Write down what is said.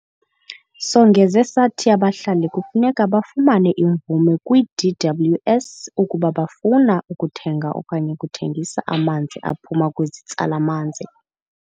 Songeze sathi abahlali kufuneka bafumane imvume kwi-DWS ukuba bafuna ukuthenga okanye ukuthengisa amanzi aphuma kwizitsala-manzi.